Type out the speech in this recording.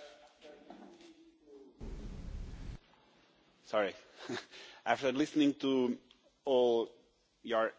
Madam President, after listening to all your